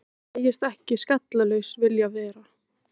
Hann segist ekki skallalaus vilja vera.